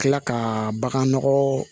Kila ka bagan nɔgɔ